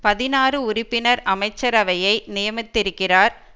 பதினாறு உறுப்பினர் அமைச்சரவையை நியமித்திருக்கிறார்